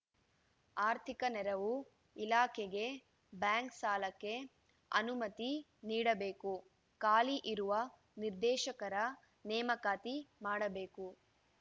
ಆರ್ಥಿಕ ನೆರವು ಇಲಾಖೆಗೆ ಬ್ಯಾಂಕ್‌ ಸಾಲಕ್ಕೆ ಅನುಮತಿ ನೀಡಬೇಕು ಖಾಲಿ ಇರುವ ನಿರ್ದೇಶಕರ ನೇಮಕಾತಿ ಮಾಡಬೇಕು